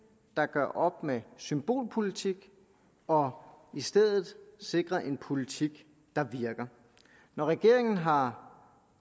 der gør op med symbolpolitik og i stedet sikrer en politik der virker når regeringen har